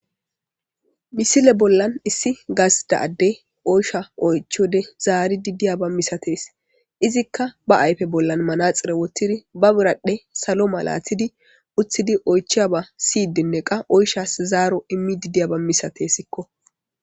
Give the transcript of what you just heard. misile bollan issi gas daadde oysha oychode zaari diddiya ba misates izikka ba ayfe bollan manaxire wottiri ba biradhdhe salo malatidi uththidi oychiya ba siydinne qa oyshas zaaro immi didiya ba misatessikko